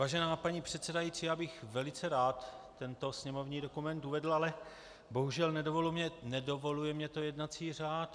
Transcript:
Vážená paní předsedající, já bych velice rád tento sněmovní dokument uvedl, ale bohužel, nedovoluje mi to jednací řád.